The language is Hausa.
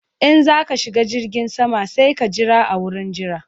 In za ka shiga jirgin sama sai ka jira a wurin jira